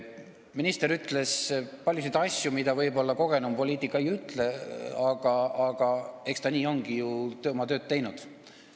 Minister ütles paljusid asju, mida kogenum poliitik võib-olla ei ütleks, aga eks ta nii olegi ju oma tööd teinud.